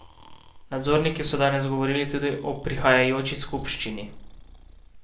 Nadzorniki so danes govorili tudi o prihajajoči skupščini.